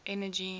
energy